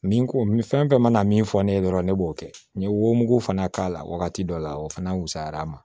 Min ko min fɛn fɛn mana min fɔ ne ye dɔrɔn ne b'o kɛ n ye wo mugu fana k'a la wagati dɔ la o fana wusayara a ma